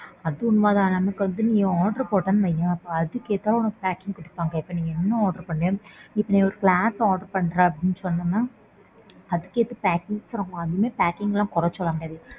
அது உண்மைதான். நமக்கு வந்து நீ order போட்டேன்னு வையேன் அதுகேத்தாப்ல உனக்கு packing குடுப்பாங்க. இப்போ நீ என்ன order பண்றியோ நீ இப்போ ஒரு glass order பண்றேன்னு சொன்னனா. அதுக்கேத்த packing பண்ணுவாங்க. அதுமே packing லாம் குறை சொல்ல முடியாது.